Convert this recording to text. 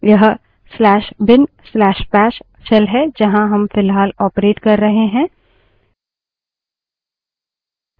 यह/bin/bash /bin/bash shell है जहाँ हम फ़िलहाल ऑपरेट कर रहे हैं